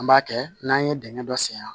An b'a kɛ n'an ye dingɛ dɔ sen yan